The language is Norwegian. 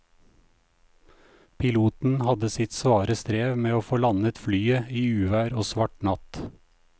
Piloten hadde sitt svare strev med å få landet flyet i uvær og svart natt.